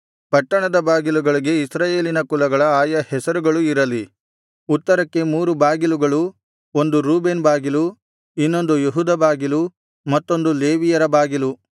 ಪಟ್ಟಣದ ಬಾಗಿಲುಗಳಿಗೆ ಇಸ್ರಾಯೇಲಿನ ಕುಲಗಳ ಆಯಾ ಹೆಸರುಗಳು ಇರಲಿ ಉತ್ತರಕ್ಕೆ ಮೂರು ಬಾಗಿಲುಗಳು ಒಂದು ರೂಬೇನ್ ಬಾಗಿಲು ಇನ್ನೊಂದು ಯೆಹೂದ ಬಾಗಿಲು ಮತ್ತೊಂದು ಲೇವಿಯರ ಬಾಗಿಲು